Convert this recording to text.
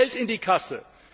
Wie kommt Geld in die Kasse?